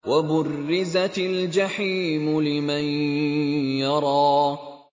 وَبُرِّزَتِ الْجَحِيمُ لِمَن يَرَىٰ